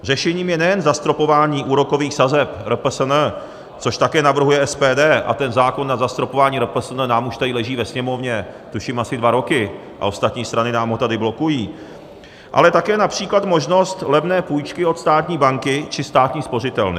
Řešením je nejen zastropování úrokových sazeb RPSN, což také navrhuje SPD - a ten zákon na zastropování RPSN nám už tady leží ve Sněmovně tuším asi dva roky a ostatní strany nám ho tady blokují - ale také například možnost levné půjčky od státní banky či státní spořitelny.